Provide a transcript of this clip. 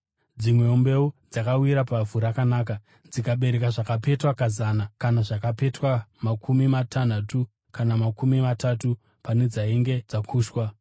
Dzimwewo mbeu dzakawira pavhu rakanaka, dzikabereka zvakapetwa kazana, kana zvakapetwa makumi matanhatu kana makumi matatu pane dzainge dzakushwa.